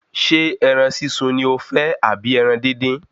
Ṣé ẹran sísun ni o fẹ́ àbí ẹran dín dín?